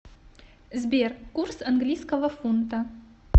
сбер курс английского фунта